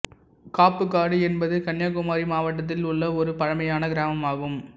காப்புக்காடு என்பது கன்னியாகுமரி மாவட்டத்தில் உள்ள ஒரு பழமையான கிராமமாகும்